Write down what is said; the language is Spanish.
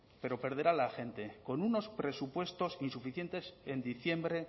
pero perderá la gente con unos presupuestos insuficientes en diciembre